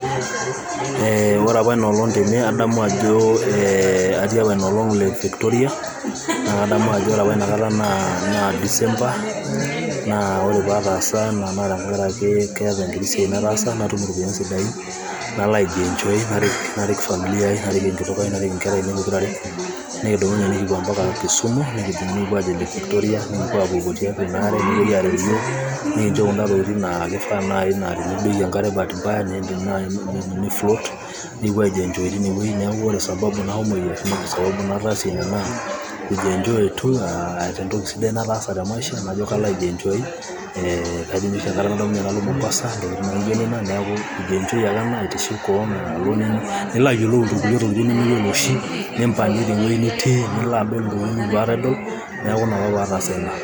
ore apa Ina olong atii apa Ina olong lake Victoria[cs,naa kadamu Ajo ore apa Ina kata naa [csDecember naa ore pee ataasa ena naa, keeta enkiti siai nataasa natum inkuti ropiyiani sidain, nalo sijui enjoy, narik familia ai, narik enkitok ai, narik inkera ainei pokira are, nikidumunye nikupuo mpaka nikupuo aajing lake Victoria, nikinchop Kuna tokitin naa kifaa naaji tinidoiki enkare baati mbaya nifloat, nikipuo aaji enjoy teine wueji, neeku ewueji nashomo, aijienjoy ,entoki sidai nataasa te maisha najo kalo aiji enjoy, kelo ninye oshi enkata nalo Mombasa, neeku kujienjoy ake ena nilo adol intokitin nimiyiolo oshi ,nilo ayiolou intokitin kumok neeku kuji enjoy ake ena.